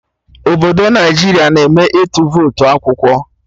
Obodo Naijiria na eme ịtụ votu akwụkwọ